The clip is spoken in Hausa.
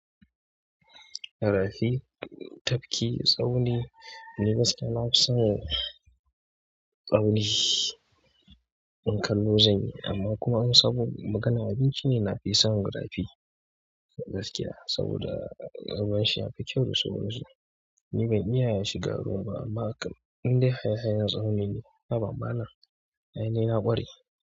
Garafi, tafki, tsauni. Ni gaskiya na fi son tsauni in kallo zanyi amma kuma im sabon magana. Abinci ne na fi son garafi gaskiya saboda ƙarfun shi ya fi kyau da sauransu. Ni ban iya yi shi garo ba amma in dai hayayen tsauni ne, haba malana aini na ƙware.